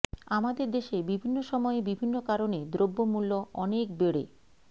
আমাদের দেশে বিভিন্ন সময়ে বিভিন্ন কারণে দ্রব্যমূল্য অনেক বেড়ে